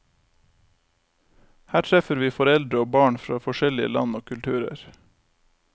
Her treffer vi foreldre og barn fra forskjellige land og kulturer.